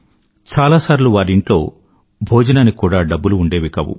చాలాసార్లు వారి ఇంట్లో భోజనానికి కూడా డబ్బులు ఉండేవి కాదు